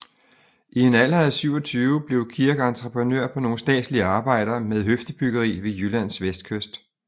I en alder af 27 blev Kirk entreprenør på nogle statslige arbejder med høfdebyggeri ved Jyllands vestkyst